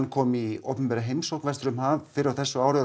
kom í opinbera heimsókn vestur um haf fyrr á þessu ári og